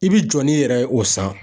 I bi jɔ n'i yɛrɛ ye o san.